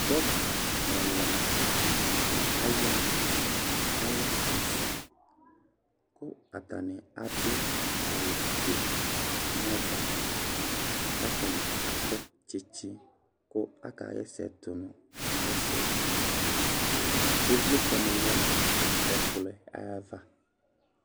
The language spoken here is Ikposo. Dɔkɩta ɛla aya, alɛ asɩ ; kʋ atanɩ adʋ awʋ fue nava, katanɩ akɔ tsɩtsɩ kʋ aka ɣa ɛsɛ tʋ nʋ ɛsɛ dɩƖvlɩtsɛ nɩ lɛ nʋ ɛkplɔ yɛ ayava